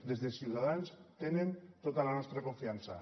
des de ciutadans tenen tota la nostra confiança